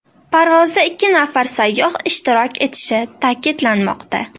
Parvozda ikki nafar sayyoh ishtirok etishi ta’kidlanmoqda.